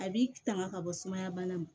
A b'i tanga ka bɔ sumaya bana ma